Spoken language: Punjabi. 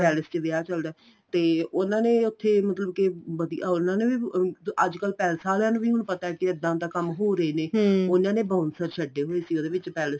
palace ਚ ਵਿਆਹ ਚੱਲਦਾ ਤੇ ਉਹਨਾ ਨੇ ਉੱਥੇ ਮਤਲਬ ਕੇ ਵਧੀਆ ਉਹਨਾ ਨੇ ਅੱਜਕਲ palace ਆਲਿਆਂ ਨੂੰ ਵੀ ਹੁਣ ਪਤਾ ਏ ਇੱਦਾਂ ਇੱਦਾਂ ਕੰਮ ਹੋ ਰਹੇ ਨੇ ਉਹਨਾ ਨੇ bouncer ਛੱਡੇ ਹੋਏ ਸੀ ਉਹਦੇ ਵਿੱਚ palace ਚ